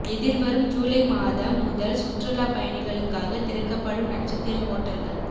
எதிர்வரும் ஜுலை மாதம் முதல் சுற்றுலா பயணிகளுக்காக திறக்கப்படும் நட்சத்திர ஹோட்டல்கள்